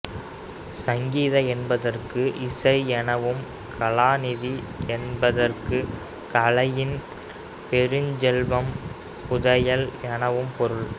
சங்கீத என்பதற்கு இசை எனவும் கலாநிதி என்பதற்கு கலையின் பெருஞ்செல்வம் புதையல் எனவும் பொருள்